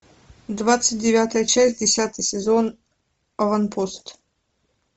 двадцать девятая часть десятый сезон аванпост